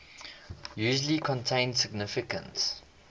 usually contain significant